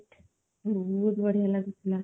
ବହୁତ ବଢ଼ିଆ ଲାଗୁ ଥିଲା